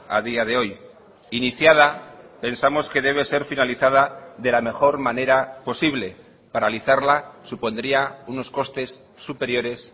a día de hoy iniciada pensamos que debe ser finalizada de la mejor manera posible paralizarla supondría unos costes superiores